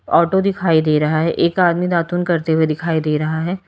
Auto दिखाई दे रहा है एक आदमी दातुन करते हुए दिखाई दे रहा है।